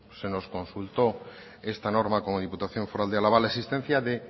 se nos consultó esta norma como diputación foral de álava la existencia de